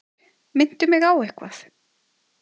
Minntu mig á eitthvað.